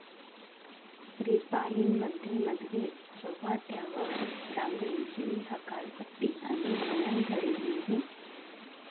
रिपाइंमध्ये मतभेद चव्हाट्यावर, डांगळेंची हकालपट्टी आणि मनधरणीही!